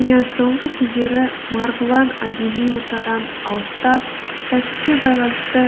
иә соңғы кездері марғұлан әдеби ортадан алыстап кәсіпке байланысты